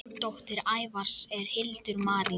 Dóttir Ævars er Hildur Marín.